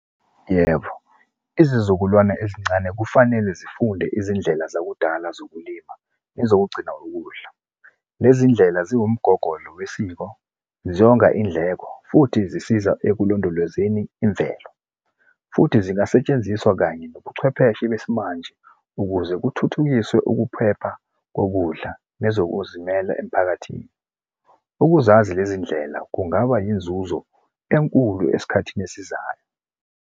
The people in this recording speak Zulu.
Yebo, izizukulwane ezincane kufanele zifunde izindlela zakudala zokulima ezokugcina ukudla. Lezi iy'ndlela ziwumgogodla wesiko, zonga iy'ndleko, futhi zisiza ekulondolozeni imvelo, futhi zingasetshenziswa kanye nobuchwepheshe besimanje ukuze kuthuthukiswe ukuphepha kokudla nezokuzimela emphakathini. Ukuzazi lezi ndlela kungaba yinzuzo enkulu esikhathini esizayo.